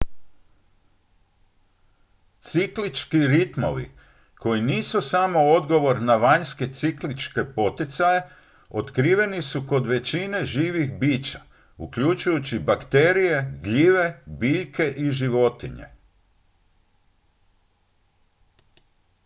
ciklički ritmovi koji nisu samo odgovor na vanjske cikličke poticaje otkriveni su kod većine živih bića uključujući bakterije gljive biljke i životinje